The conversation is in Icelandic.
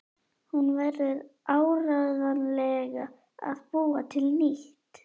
Hún verður áreiðanlega að búa til nýtt.